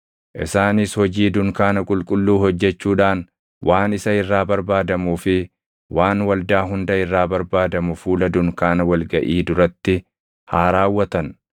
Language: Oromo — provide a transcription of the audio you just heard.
Isaanis hojii dunkaana qulqulluu hojjechuudhaan waan isa irraa barbaadamuu fi waan waldaa hunda irraa barbaadamu fuula dunkaana wal gaʼii duratti haa raawwatan.